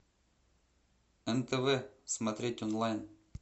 нтв смотреть онлайн